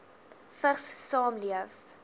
vigs saamleef